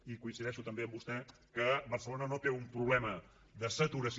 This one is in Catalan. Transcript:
i coincideixo també amb vostè que barcelona no té un problema de saturació